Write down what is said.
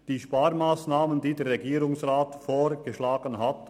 Wir haben die Sparmassnahmen akzeptiert, die der Regierungsrat vorgeschlagen hat.